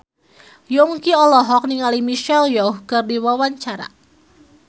Yongki olohok ningali Michelle Yeoh keur diwawancara